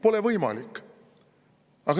Pole võimalik.